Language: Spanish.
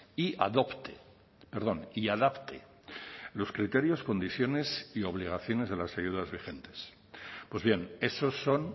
y adopte perdón y adapte los criterios condiciones y obligaciones de las ayudas vigentes pues bien esos son